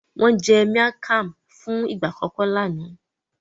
Wọn jé miang Kham fún ìgbà àkókò lànà.